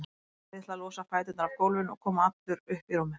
Neyðist til að losa fæturna af gólfinu og koma allur upp í rúmið.